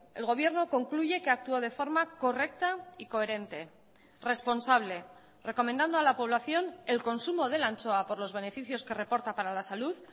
el gobierno concluye que actúa de forma correcta y coherente responsable recomendando a la población el consumo de la anchoa por los beneficios que reporta para la salud